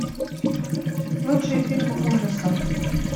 лучшие фильмы ужаса